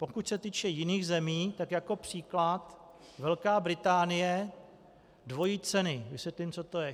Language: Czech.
Pokud se týče jiných zemí, tak jako příklad Velká Británie - dvojí ceny, vysvětlím, co to je.